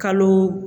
Kalo